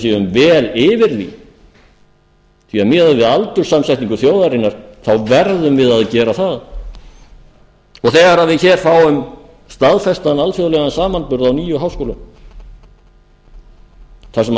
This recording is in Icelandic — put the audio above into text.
séum vel yfir því því miðað við aldurssamsetningu þjóðarinnar verðum við að gera það og þegar við fáum staðfestan alþjóðlegan samanburð á nýjum háskólum þar sem